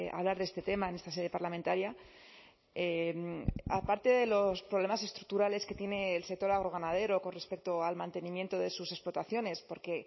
hablar de este tema en esta sede parlamentaria aparte de los problemas estructurales que tiene el sector agroganadero con respecto al mantenimiento de sus explotaciones porque